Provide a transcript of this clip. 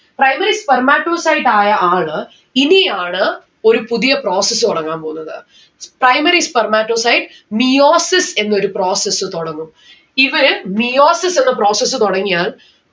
Primary spermatocyte ആയ ആള് ഇനിയാണ് ഒരു പുതിയ process തൊടങ്ങാൻ പോന്നത്. Primary spermatocyte meiosis എന്നൊരു process തൊടങ്ങും. ഇത് meiosis എന്ന process തൊടങ്ങിയാൽ